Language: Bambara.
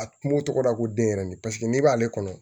A kungo tɔgɔ la ko den yɛrɛ ni paseke n'i b'ale kɔnɔ